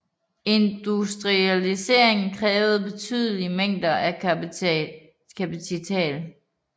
Industrialiseringen krævede betydelige mængder af kapital